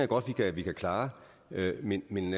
godt at vi kan klare men men